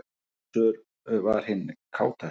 Gizur var hinn kátasti.